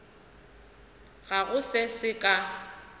ga go se se ka